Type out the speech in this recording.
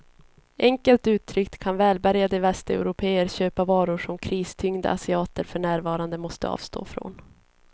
Enkelt uttryckt kan välbärgade västeuropéer köpa varor som kristyngda asiater för närvarande måste avstå ifrån.